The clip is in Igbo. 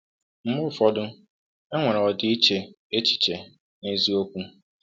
Mgbe ụfọdụ, e nwere ọdịiche echiche n’eziokwu.